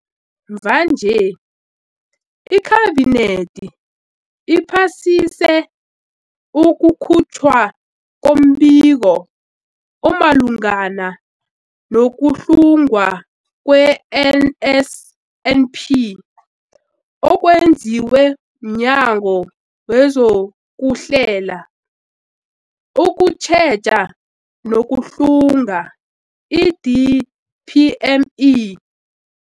Mvanje, iKhabinethi iphasise ukukhutjhwa kombiko omalungana no-kuhlungwa kwe-NSNP okwenziwe mNyango wezokuHlela, ukuTjheja nokuHlunga, i-DPME.